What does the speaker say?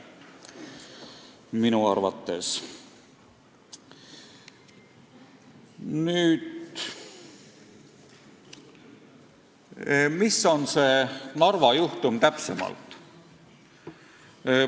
Mis on täpsemalt see Narva juhtum?